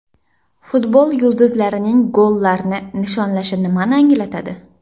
Futbol yulduzlarining gollarni nishonlashi nimani anglatadi?.